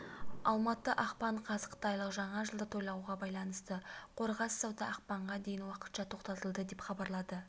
алматы ақпан қаз қытайлық жаңа жылды тойлауға байланысты қорғас сауда ақпанға дейін уақытша тоқтатылады деп хабарлады